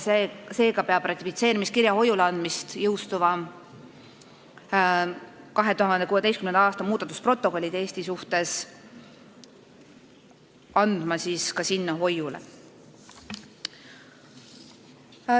Seega peab ka Eesti ratifitseerimiskirja sinna hoiule andma 2016. aasta muudatusprotokolli järgi, mis selle hoiuleandmise jõustas.